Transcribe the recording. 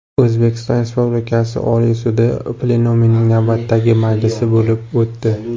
O‘zbekiston Respublikasi Oliy sudi plenumining navbatdagi majlisi bo‘lib o‘tdi.